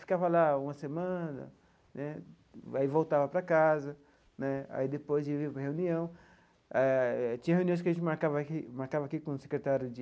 Ficava lá uma semana né, aí voltava para casa né, aí depois de ir para reunião, tinha reuniões que a gente marcava aqui marcava aqui com o secretário de